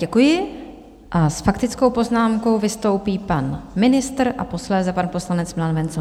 Děkuji a s faktickou poznámkou vystoupí pan ministr a posléze pan poslanec Milan Wenzl.